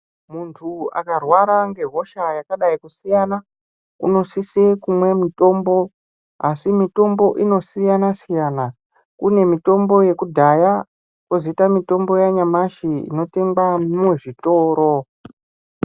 Muntu akarwara ngehosha yakadai kusiyana unosise kumwe mutombo asi mitombo inosiyana siyana kune mutombo yekudhaya kwozoita mutombo yanyamashi inotengwa muzvitoro.